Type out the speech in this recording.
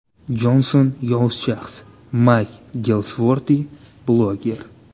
Jonson yovuz shaxs”, – Mayk Gelsvorti, bloger.